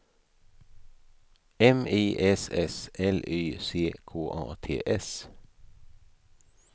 M I S S L Y C K A T S